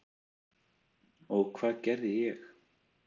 Og hvað gerði ég?